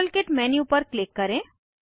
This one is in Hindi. मॉडलकिट मेन्यू पर क्लिक करें